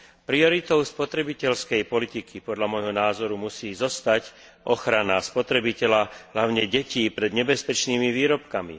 Prioritou spotrebiteľskej politiky, podľa môjho názoru, musí zostať ochrana spotrebiteľa hlavne detí pred nebezpečnými výrobkami.